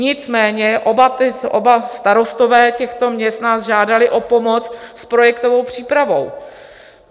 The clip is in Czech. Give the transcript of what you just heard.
Nicméně oba starostové těchto měst nás žádali o pomoc s projektovou přípravou.